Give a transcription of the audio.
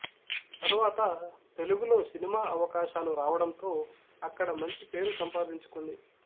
తరువాత తెలుగులో సినిమా అవకాశాలు రావడంతో అక్కడ మంచి పేరు సంపాదించుకుంది